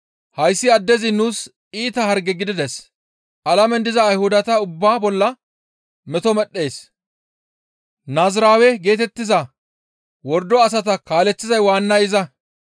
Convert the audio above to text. «Hayssi addezi nuus iita harge gidides; alamen diza Ayhudata ubbaa bolla meto medhdhees; Naaziraawe geetettiza wordo asata kaaleththiza waannay iza.